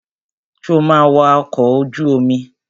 Sọ ma wa ọkọ̀ ojú omi?